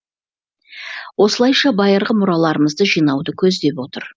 осылайша байырғы мұраларымызды жинауды көздеп отыр